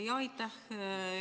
Jaa, aitäh!